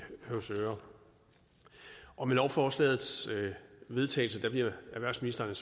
høvsøre og med lovforslagets vedtagelse bliver erhvervsministeren